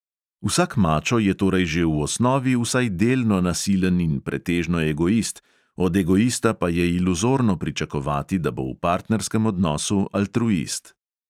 Vsak mačo je torej že v osnovi vsaj delno nasilen in pretežno egoist, od egoista pa je iluzorno pričakovati, da bo v partnerskem odnosu altruist.